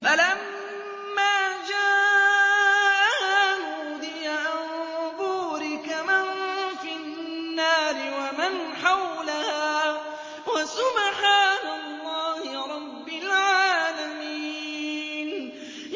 فَلَمَّا جَاءَهَا نُودِيَ أَن بُورِكَ مَن فِي النَّارِ وَمَنْ حَوْلَهَا وَسُبْحَانَ اللَّهِ رَبِّ الْعَالَمِينَ